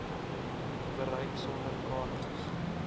bereik sonder kaartjies